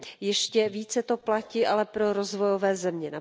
Ještě více to ale platí pro rozvojové země.